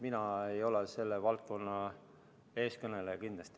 Mina kindlasti ei ole selle valdkonna eestkõneleja.